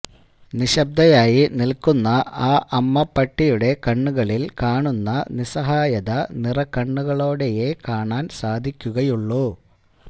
നിശബ്ദയായി നില്ക്കുന്ന ആ അമ്മ പട്ടിയുടെ കണ്ണുകളില്കാണുന്ന നിസ്സാഹായത നിറകണ്ണുകളോടെയേ കാണാന് സാധിക്കുകയുള്ളു